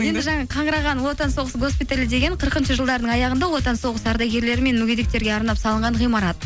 енді жаңа қаңыраған ұлы отан соғысы госпиталі деген қырқыншы жылдардың аяғында ұлы отан соғысы ардагерлері мен мүгедектерге арнап салынған ғимарат